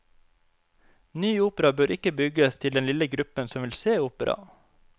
Ny opera bør ikke bygges til den lille gruppen som vil se opera.